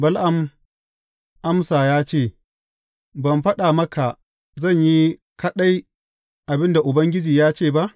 Bala’am amsa ya ce, Ban faɗa maka zan yi kaɗai abin da Ubangiji ya ce ba?